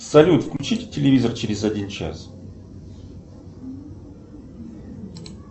салют включите телевизор через один час